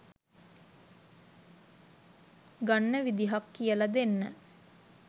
ගන්න විදිහක් කියල දෙන්න